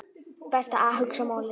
Best að hugsa málið.